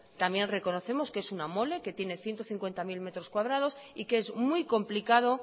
también reconocemos que es una mole que tiene ciento cincuenta mil metros cuadrados y que es muy complicado